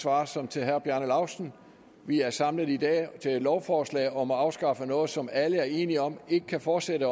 svar som til herre bjarne laustsen vi er samlet i dag til et lovforslag om at afskaffe noget som alle er enige om ikke kan fortsætte